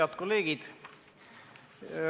Head kolleegid!